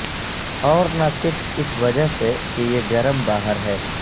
اور نہ صرف اس وجہ سے کہ یہ گرم باہر ہے